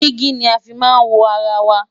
digi ní a fí má n wọ ará wà